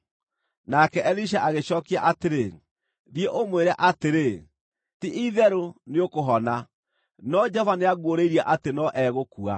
Nake Elisha agĩcookia atĩrĩ, “Thiĩ ũmwĩre atĩrĩ, ‘Ti-itherũ nĩũkũhona’; no Jehova nĩanguũrĩirie atĩ no egũkua.”